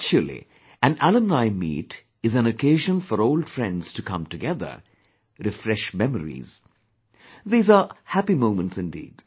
Actually, an alumni meet is an occasion for old friends to come together, refresh memories; these are happy moments indeed